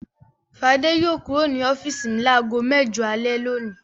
Fadé yóò kúrò ní ọ́fíísì mi lágo mẹ́jọ alẹ́ lónìí.